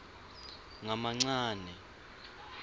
ngamancane